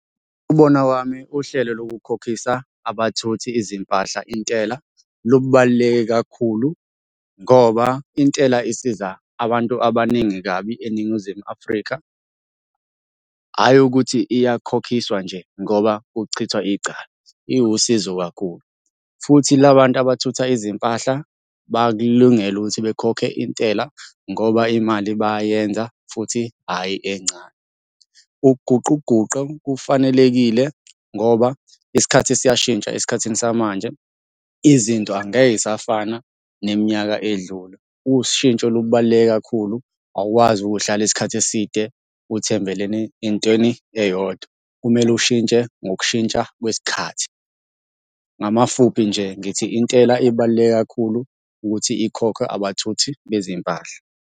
Ngokubona kwami uhlelo lokukhokhisa abathuthi izimpahla intela lubaluleke kakhulu ngoba intela isiza abantu abaningi kabi eNingizimu Afrika, hhayi ukuthi iyakhokhiswa nje ngoba kuchithwa icala. Iwusizo kakhulu, futhi la bantu abathutha izimpahla bakulungele ukuthi bekhokhe intela ngoba imali bayayenza futhi hhayi encane. Ukuguquguqu kufanelekile ngoba isikhathi siyashintsha esikhathini samanje, izinto angeke y'safana neminyaka edlule. Ushintsho lubaluleke kakhulu, awukwazi ukuhlala isikhathi eside uthembeleni entweni eyodwa, kumele ushintshe ngokushintsha kwesikhathi. Ngamafuphi nje ngithi intela ibaluleke kakhulu ukuthi ikhokhwe abathuthi bezimpahla.